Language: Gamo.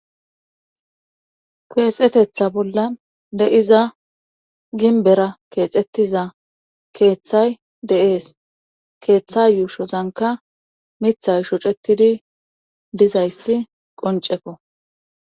Keexetetha bollan de7iza ginbera keexettiza keeththay deees keeththa yuushozanka mithay shocetidi dizayssi qoncefo.